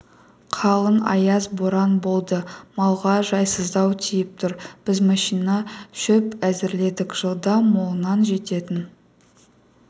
қалың аяз боран болды малға жайсыздау тиіп тұр біз машина шөп әзірледік жылда молынан жететін